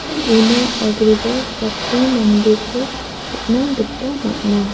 una agreba sakbri mandeko nikna gita man·a.